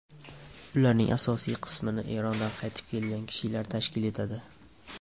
Ularning asosiy qismini Erondan qaytib kelgan kishilar tashkil etadi.